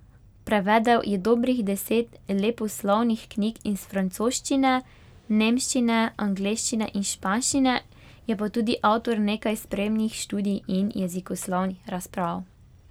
Prevedel je dobrih deset leposlovnih knjig iz francoščine, nemščine, angleščine in španščine, je pa tudi avtor nekaj spremnih študij in jezikoslovnih razprav.